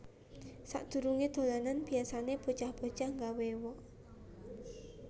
Sak durunge dolanan biasane bocah bocah nggawé wok